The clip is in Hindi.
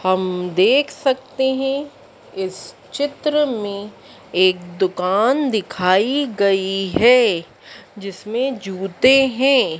हम देख सकते हैं इस चित्र में एक दुकान दिखाई गई है जिसमें जुते हैं।